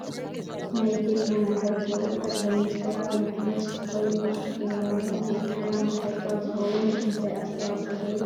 ናይ ኢትዮጵያ መራሒ ኩብር ጠቅላይ ሚኒስተር ኣብይ ኣሕመድ ሱፍ ተከዲኑ ፍሽክ ይብል ኣሎ ። ናይ ኢትዮጵያ መራሒ ካብ ዝከውን እንታይ ኣስተዋፅኦ ገይሩ ?